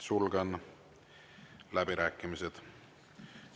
Sulgen läbirääkimised.